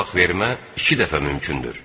Talaq vermə iki dəfə mümkündür.